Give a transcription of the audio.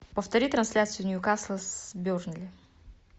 повтори трансляцию ньюкасл с бернли